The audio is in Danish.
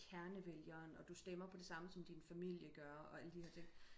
kernevælgeren og du stemmer på det samme som din familie gør og alle de her ting